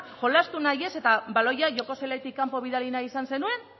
jolastu nahi ez eta baloia joko zelaitik kanpo bidali nahi izan zenuen